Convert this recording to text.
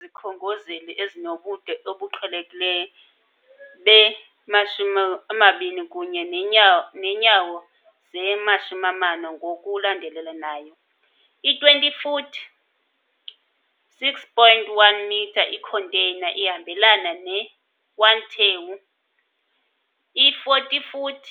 izikhongozeli ezinobude obuqhelekileyo be-20 kunye neenyawo ze-40 ngokulandelelanayo - i-20 foot, 6.1 metre, i-container ihambelana ne-1 TEU, i-40 foot,